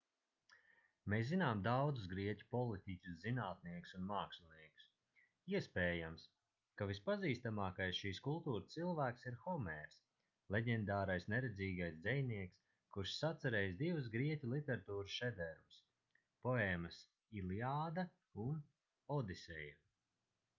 mēs zinām daudzus grieķu politiķus zinātniekus un māksliniekus iespējams ka vispazīstamākais šīs kultūras cilvēks ir homērs leģendārais neredzīgais dzejnieks kurš sacerējis divus grieķu literatūras šedevrus poēmas iliāda un odiseja